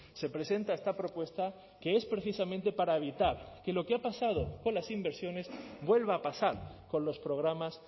se presenta esta propuesta que es precisamente para evitar que lo que ha pasado con las inversiones vuelva a pasar con los programas